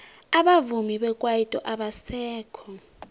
abavumi bekwaito abasekho